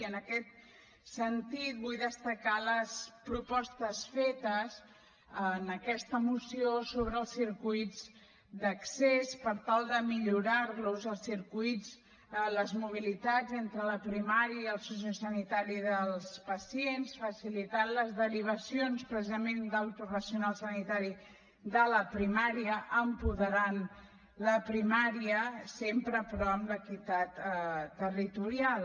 i en aquest sentit vull destacar les propostes fetes en aquesta moció sobre els circuits d’accés per tal de millorar los els circuits les mobilitats entre la primària i el sociosanitari dels pacients facilitant les derivacions precisament del professional sanitari de la primària apoderant la primària sempre però amb l’equitat territorial